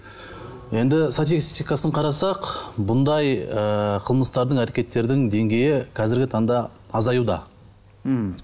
енді статистикасын қарасақ мұндай ыыы қылмыстардың әрекеттердің деңгейі қазіргі таңда азаюда ммм